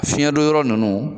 Fiɲɛdonyɔrɔ ninnu